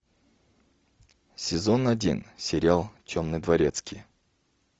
сезон один сериал темный дворецкий